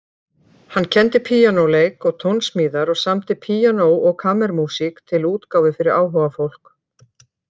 Hann kenndi píanóleik og tónsmíðar og samdi píanó- og kammermúsík til útgáfu fyrir áhugafólk.